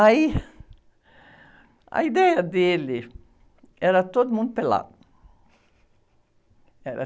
Aí, a ideia dele era todo mundo pelado. Era...